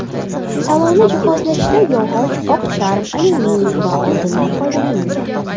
Salonni jihozlashda yog‘och, oq charm, alyuminiy va oltindan foydalanilgan.